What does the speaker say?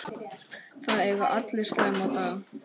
Það eiga allir slæma daga.